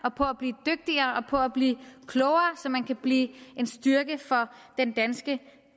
og på at blive dygtigere og på at blive klogere så man kan blive en styrke for den danske